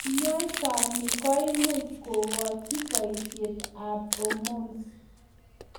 Kanyaisani koimuch kookoch baishet ab hormones